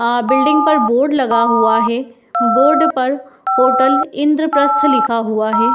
अ building पर board लगा हुआ है। बोर्ड पर होटल इंद्रप्रस्थ लिखा हुआ है।